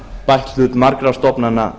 bætt hlut margra stofnana